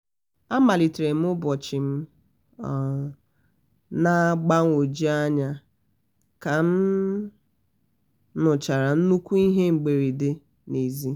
amalitere m ụbọchị m um na mgbagwoju anya ka m um nụchara nnukwu ihe mberede na ezi